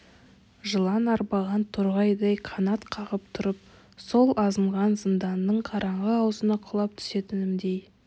жылан арбаған торғайдай қанат қағып тұрып сол азынаған зынданның қараңғы аузына құлап түсетіндеймін